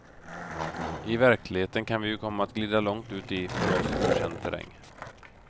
I verkligheten kan vi ju komma att glida långt ut i för oss okänd terräng.